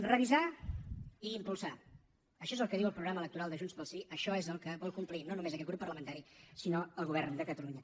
revisar i impulsar això és el que diu el programa electoral de junts pel sí això és el que vol complir no només aquest grup parlamentari sinó el govern de catalunya